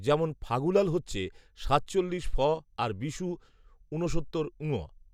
যেমন, ফাগুলাল হচ্ছে সাতচল্লিশ ফ আর বিশু ঊনসত্তর ঙ